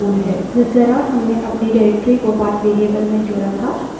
जिस तरह हमने अपनी निर्देशिका directory को path variable में जोड़ा था